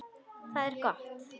Og það er gott.